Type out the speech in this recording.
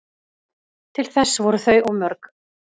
Til þess voru þau of mörg